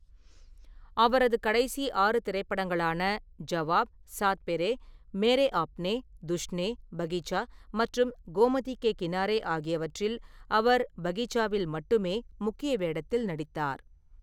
அவரது கடைசி ஆறு திரைப்படங்களான ஜவாப், சாத் பெரே, மேரே ஆப்னே, துஷ்னே, பகீச்சா மற்றும் கோமதி கே கினாரே ஆகியவற்றில், அவர் பகீச்சாவில் மட்டுமே முக்கிய வேடத்தில் நடித்தார்.